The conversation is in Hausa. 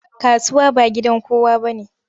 Kasuwa ba gidan kowa bane.